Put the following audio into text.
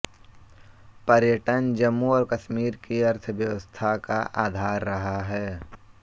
पर्यटन जम्मू और कश्मीर की अर्थव्यवस्था का आधार रहा है